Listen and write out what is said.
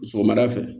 Sɔgɔmada fɛ